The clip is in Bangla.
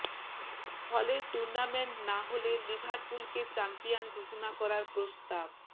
ফলে টুর্রনামেন্ট না হলে লিভারপুলকে চ্যাম্পিয়ন ঘোষণা করার প্রস্তাব